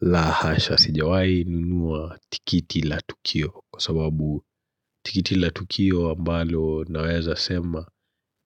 La hasha sijawai nunua tikiti la Tukio kwa sababu tikiti la Tukio ambalo naweza sema